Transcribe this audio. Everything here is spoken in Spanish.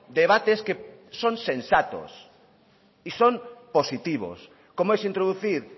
debates que son sensatos y son positivos como es introducir